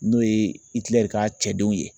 N'o ye ka cɛdenw ye